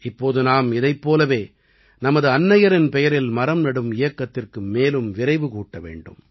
இப்போது நாம் இதைப் போலவே நமது அன்னையரின் பெயரில் மரம் நடும் இயக்கத்திற்கு மேலும் விரைவு கூட்ட வேண்டும்